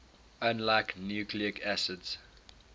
unlike nucleic acids